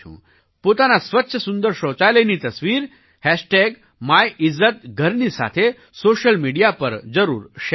પોતાના સ્વચ્છ સુંદર શૌચાલયની તસવીર MyIzzatGharની સાથે સૉશિયલ મિડિયા પર જરૂર શૅર કરો